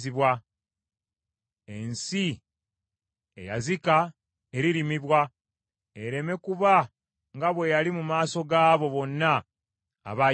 Ensi eyazika eririmibwa, ereme kuba nga bwe yali mu maaso gaabo bonna abaagiyitangamu.